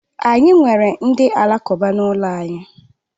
Anyị nwere ndị alakụba n'ụlọ anyị.